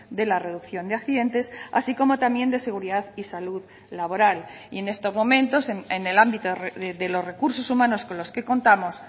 de la reducción de accidentes así como también de seguridad y salud laboral y en estos momentos en el ámbito de los recursos humanos con los que contamos